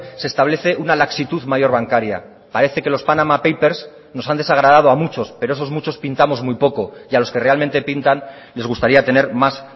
se establece una laxitud mayor bancaria parece que los panama papers nos han desagradado a muchos pero esos muchos pintamos muy poco y a los que realmente pintan les gustaría tener más